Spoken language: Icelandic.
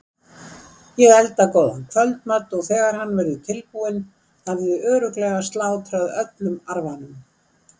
Ég elda góðan kvöldmat og þegar hann verður tilbúinn hafið þið örugglega slátrað öllum arfanum.